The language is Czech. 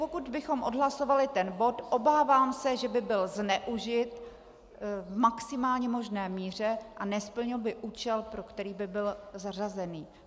Pokud bychom odhlasovali tento bod, obávám se, že by byl zneužit v maximální možné míře a nesplnil by účel, pro který by byl zařazen.